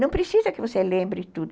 Não precisa que você lembre tudo.